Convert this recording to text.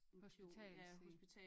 Hospitals en